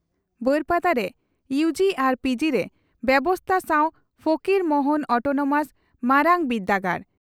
ᱵᱟᱹᱨᱯᱟᱫᱟ ᱨᱮ ᱩᱜ ᱟᱨ ᱯᱜ ᱨᱮ ᱵᱮᱵᱚᱥᱛᱟ ᱥᱟᱣ ᱯᱷᱚᱠᱤᱨ ᱢᱚᱦᱚᱱ ᱚᱴᱚᱱᱚᱢᱟᱥ ᱢᱟᱨᱟᱝᱵᱤᱨᱰᱟᱹᱜᱟᱲ